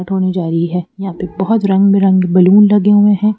धोने जा रही है यहां पे बहोत रंग बिरंगे बैलून लगे हुए हैं।